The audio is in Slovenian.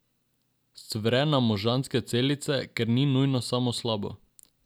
Scvre nam možganske celice, kar ni nujno samo slabo.